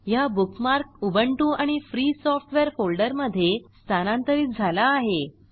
हा bookmark Ubuntu आणि free software फोल्डरमधे स्थलांतरित झाला आहे